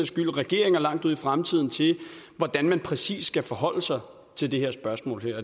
skyld regeringer langt ud i fremtiden til hvordan man præcis skal forholde sig til det her spørgsmål